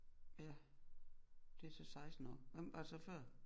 Ja det er så 16 år hvem var det så før